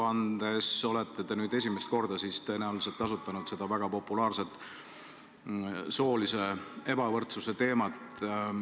Aruandes olete nüüd tõenäoliselt esimest korda kajastanud väga populaarset soolise ebavõrdsuse teemat.